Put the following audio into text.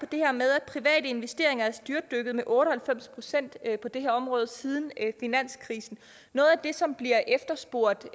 det her med at private investeringer er styrtdykket med otte og halvfems procent på det her område siden finanskrisen noget af det som bliver efterspurgt